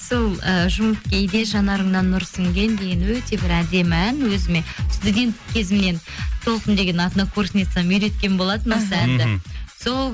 сол ы жұмып кейде жанарыңнан нұр сіңген деген өте бір әдемі ән өзіме студент кезімнен толқын деген однокурсницам үйреткен болатын осы әнді мхм сол